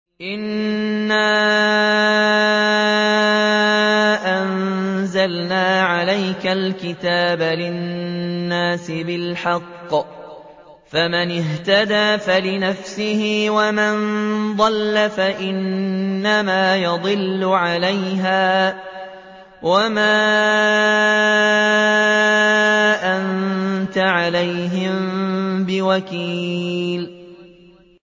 إِنَّا أَنزَلْنَا عَلَيْكَ الْكِتَابَ لِلنَّاسِ بِالْحَقِّ ۖ فَمَنِ اهْتَدَىٰ فَلِنَفْسِهِ ۖ وَمَن ضَلَّ فَإِنَّمَا يَضِلُّ عَلَيْهَا ۖ وَمَا أَنتَ عَلَيْهِم بِوَكِيلٍ